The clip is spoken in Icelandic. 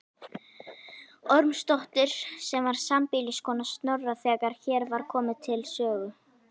Ormsdóttur sem var sambýliskona Snorra þegar hér var komið sögu.